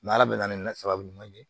ala bɛna ni sababu ɲuman ye